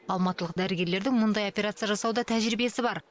алматылық дәрігерлердің мұндай операция жасауда тәжірибесі бар